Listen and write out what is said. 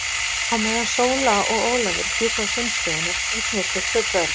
Á meðan Sóla og Ólafur bjuggu á símstöðinni eignuðust þau tvö börn.